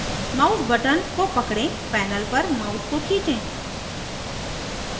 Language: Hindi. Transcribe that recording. mouse button को पकड़ें panel पर mouse को खींचें